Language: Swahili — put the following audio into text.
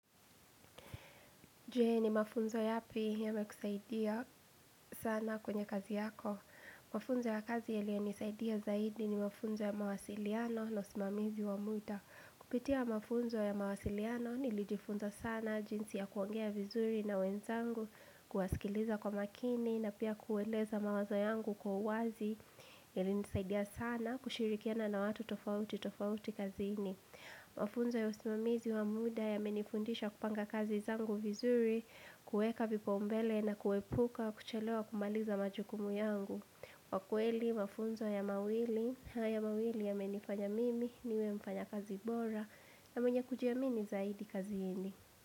Je? Ni mafunzo yapi yamekusaidia sana kwenye kazi yako. Mafunzo ya kazi yaliyonisaidia zaidi ni mafunzo ya mawasiliano na usimamizi wa muda. Kupitia mafunzo ya mawasiliano nilijifunza sana jinsi ya kuongea vizuri na wenzangu, kuwasikiliza kwa makini na pia kueleza mawazo yangu kwa uwazi. Yalinisaidia sana kushirikiana na watu tofauti tofauti kazini. Mafunzo ya usimamizi wa muda ya yamenifundisha kupanga kazi zangu vizuri. Kuweka vipao mbele na kuepuka kuchelewa kumaliza majukumu yangu. Kwa kweli, mafunzo haya mawili yamenifanya mimi niwe mfanya kazi bora na mwenye kujiamini zaidi kazini.